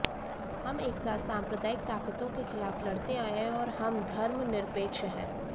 हम एक साथ सांप्रदायिक ताकतों के खिलाफ लड़ते आए हैं और हम धर्मनिरपेक्ष हैं